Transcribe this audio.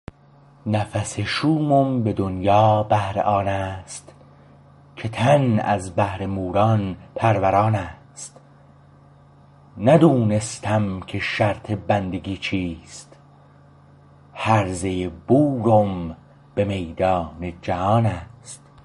نفس شومم به دنیا بهر آن است که تن از بهر موران پروران ست ندونستم که شرط بندگی چیست هرزه بورم به میدان جهان ست